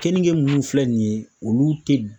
Keninge minnu filɛ nin ye olu tɛ